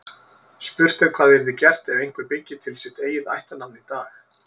Spurt er hvað yrði gert ef einhver byggi til sitt eigið ættarnafn í dag.